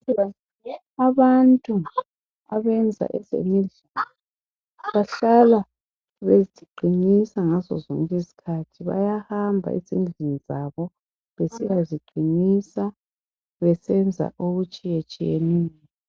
Abantu bakudala babethi bengagula bengahambi ezibhedlela babehamba egangeni bayegebha izihlahla babuye babilise banathe imithi yesintu.